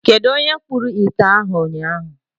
Kedụ onye kpụrụ ite ahụ ụnyaahụ.